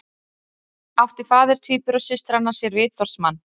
Átti faðir tvíburasystranna sér vitorðsmann